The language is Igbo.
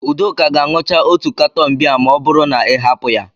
Udoka ga-aṅucha otu katọn bịa ma ọ bụrụ na ị hapụ ya.